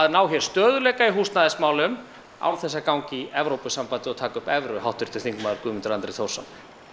ná hér stöðugleika í húsnæðismálum án þess að ganga í Evrópusambandið og taka upp evru háttvirtur þingmaður Guðmundur Andri Thorsson